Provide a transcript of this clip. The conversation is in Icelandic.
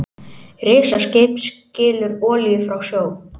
Risaskip skilur olíu frá sjó